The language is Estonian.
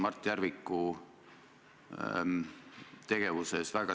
Aitäh, härra juhataja!